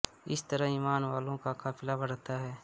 इस तरह ईमान वालों का काफिला बढ़ता है